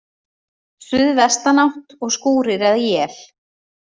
Suðvestanátt og skúrir eða él